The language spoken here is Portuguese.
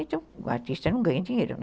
Então o artista não ganha dinheiro, né?